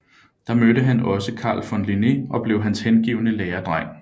Der mødte han også Carl von Linné og blev hans hengivne læredreng